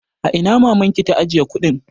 A ina mamanki ta ajiye kuɗin?